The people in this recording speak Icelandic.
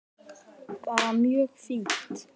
Bara mjög fínt.